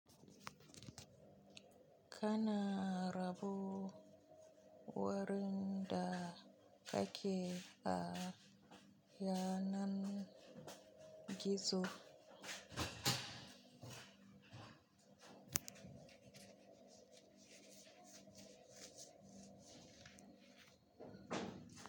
Kana rabo wurin da kake a yanar gizo.